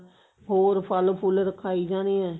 ਹੋਰ ਫਲ ਫੁਲ ਰਖਾਈ ਜਾਣੇ ਆ